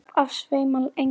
Upp af sveima englar.